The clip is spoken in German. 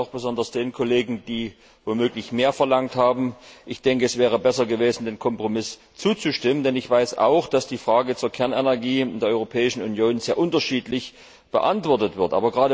Das sage ich auch besonders den Kollegen, die womöglich mehr verlangt haben. Ich denke, es wäre besser gewesen, dem Kompromiss zuzustimmen, denn ich weiß auch, dass die Frage der Kernenergie in der Europäischen Union sehr unterschiedlich beantwortet wird.